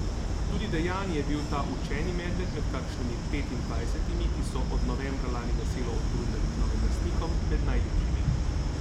Tudi Dejani je bil ta učeni medved med kakšnimi petindvajsetimi, ki so od novembra lani veselo odbrundali k novim lastnikom, med najljubšimi.